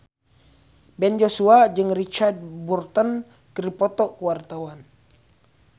Ben Joshua jeung Richard Burton keur dipoto ku wartawan